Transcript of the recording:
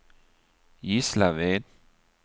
Gislaved